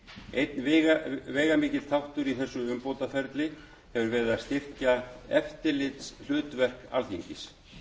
einn veigamikill þáttur í þessu umbótaferli hefur verið að styrkja eftirlitshlutverk alþingis